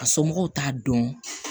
A somɔgɔw t'a dɔn